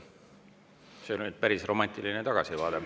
See oli nüüd päris romantiline tagasivaade.